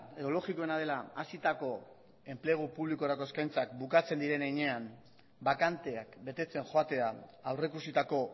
edo logikoena dela hasitako enplegu publikorako eskaintzak bukatzen diren heinean bakanteak betetzen joatea aurreikusitako